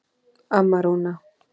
Amma Rúna.